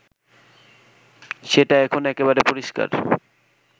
সেটা এখন একেবারে পরিষ্কার